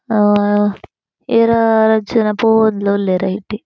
ಆ ಏರ ರಡ್ಡ್ ಜನ ಪೋವೊಂದುಲ್ಲ ಉಲ್ಲೆರ್ ಐಟೆ.